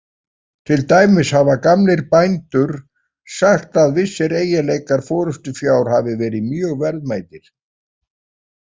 Til dæmis hafa gamlir bændur sagt að vissir eiginleikar forystufjár hafi verið mjög verðmætir.